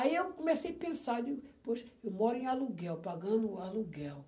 Aí eu comecei a pensar, eu digo, poxa, eu moro em aluguel, pagando aluguel.